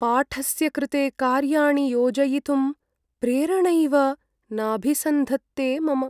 पाठस्य कृते कार्याणि योजयितुं प्रेरणैव नाभिसन्धत्ते मम।